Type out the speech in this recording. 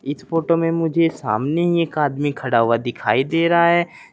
इस फोटो में मुझे सामने एक आदमी खड़ा हुआ दिखाई दे रहा है।